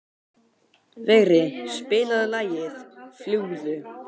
Vigri, spilaðu lagið „Fljúgðu“.